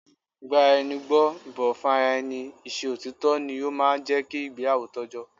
Ìgbaraẹnigbọ́, ìbọ̀wọ́ fún ara ẹni, i ṣe òtítọ́ ni ó máa ń jẹ́ kí ìgbéyàwó tọ́jọ́